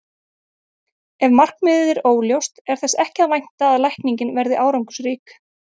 Ef markmiðið er óljóst er þess ekki að vænta að lækningin verði árangursrík.